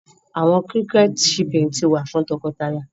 Awọn cricket chirping ti wa ni nwa fun tọkọtaya